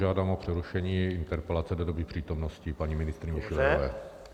Žádám o přerušení interpelace do doby přítomnosti paní ministryně Schillerové.